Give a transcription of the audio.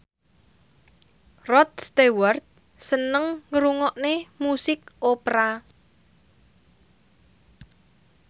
Rod Stewart seneng ngrungokne musik opera